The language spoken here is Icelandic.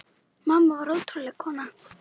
Mamma var ótrúleg kona.